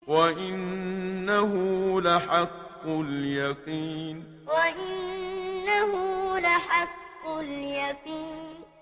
وَإِنَّهُ لَحَقُّ الْيَقِينِ وَإِنَّهُ لَحَقُّ الْيَقِينِ